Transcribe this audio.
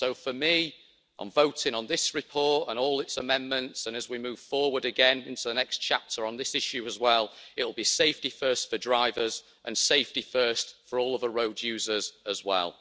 So, for me, on voting on this report and all its amendments and as we move forward again into the next chapter on this issue, it'll be safety first for drivers and safety first for all other road users as well.